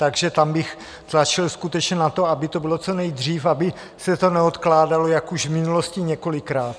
Takže tam bych tlačil skutečně na to, aby to bylo co nejdřív, aby se to neodkládalo jako již v minulosti několikrát.